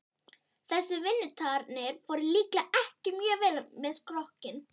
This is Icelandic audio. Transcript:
Þessar vinnutarnir fóru líklega ekki mjög vel með skrokkinn.